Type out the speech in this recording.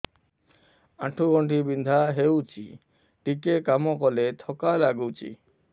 ଆଣ୍ଠୁ ଗଣ୍ଠି ବିନ୍ଧା ହେଉଛି ଟିକେ କାମ କଲେ ଥକ୍କା ଲାଗୁଚି